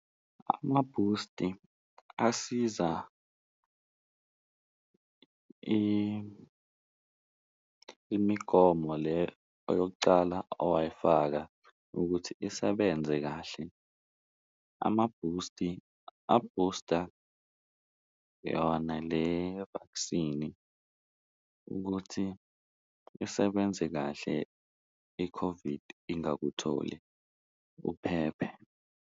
Amabhusti asiza imigomo le eyokucala owayifaka ukuthi isebenze kahle, amabhusti abhusta yona le-vaccine-i ukuthi isebenze kahle i-COVID ingakutholi uphephe.